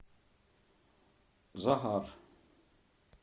захар